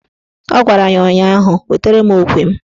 Ọ gwara ya ụnyaahụ "Wetara mụ okwe m"!